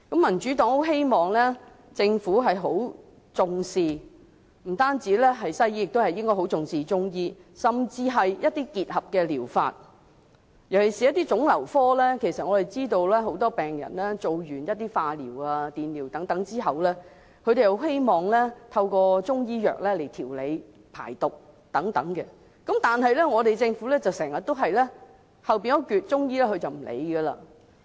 民主黨希望政府不但重視西醫，也重視中醫，甚至是結合療法，尤其是在腫瘤科，很多病人完成化療、電療後，都希望透過中醫藥調理、排毒等，但政府卻常常對後半部的中醫診療置諸不理。